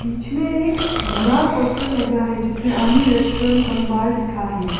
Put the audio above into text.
बीच में एक भरा पोस्टर लगा है जिसमें आनी रेस्टोरेंट कम बर लिखा है।